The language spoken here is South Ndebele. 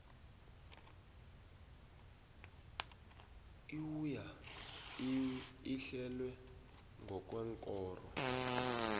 iwua ehlelwe ngokweenkoro